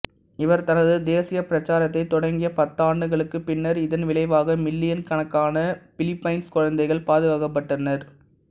இவர் தனது தேசிய பிரச்சாரத்தைத் தொடங்கிய பத்தாண்டுகளுக்குப் பின்னர் இதன் விளைவாக மில்லியன் கணக்கான பிலிப்பைன்சு குழந்தைகள் பாதுகாக்கப்பட்டனர்